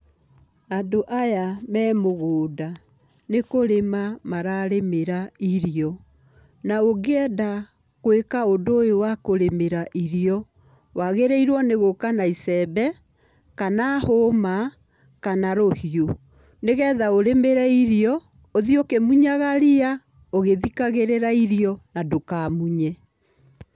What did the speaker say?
Andũ aya me mũgũnda, nĩ kũrĩma mararĩmĩra irio, na ũngĩenda gwĩka ũndũ ũyũ wa kũrĩmĩra irio, wagĩrĩirwo nĩ gũka na icembe kana hũma, kana rũhiũ. Nĩgetha ũrĩmĩre irio, ũthiĩ ũkĩmunyaga ria, ũgĩthikagĩrĩra irio na ndũkamunye.